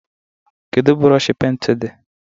Kedụ brooshi pent di?